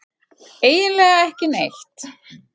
Eiginlega ekki neitt.